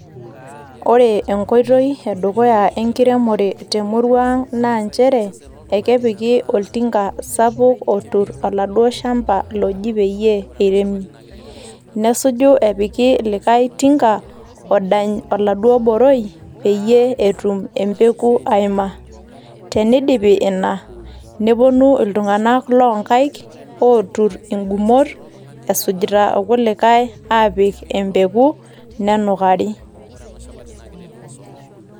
Ore enkoitoi edukuya enkiremore te murua naa nchere, ekepiki oltinga sapuk otur oladuo shamba loji peyie eiremi. Nesuju epiki olikai tinga odany oladuo boroi peyie etum embegu aima. Teneidipi ina, newuonu iltung'ana loo nkaik lootur ingumot esujita ilkulikai apik embegu, nenukari.